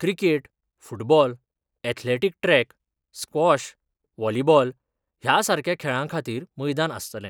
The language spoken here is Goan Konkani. Cricket, football, athletic track, squash, volleyball ह्या सारख्या खेळां खातीर मैदान आस्तले.